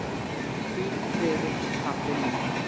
Hvíl í friði, pabbi minn.